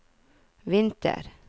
vinter